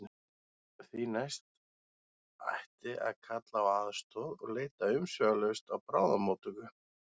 Því næst ætti að kalla á aðstoð og leita umsvifalaust á bráðamóttöku.